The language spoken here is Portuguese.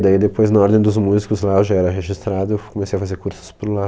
Daí depois na ordem dos músicos lá, eu já era registrado, eu f comecei a fazer cursos por lá.